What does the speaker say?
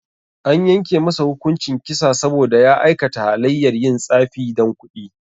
An yanke masa hukuncin kisa saboda ya aikata halayyar yin tsafi dan kudi